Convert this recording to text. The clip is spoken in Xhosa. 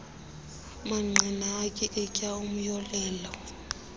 mangqina atyikitya umyolelo